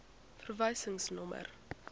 verwysingsnommer